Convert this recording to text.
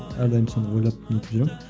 әрдайым соны ойлап не етіп жүремін